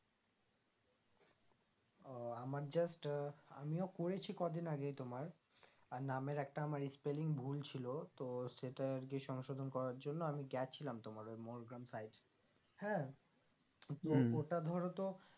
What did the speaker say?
ও আমার just আহ আমিও করেছি কদিন আগেই তোমার আর নামের আমার একটা spelling ভুল ছিল তো সেটা আরকি সংশোধন করার জন্য আমি গেছিলাম তোমার ওই গ্রাম side হ্যাঁ ওটা ধরো তো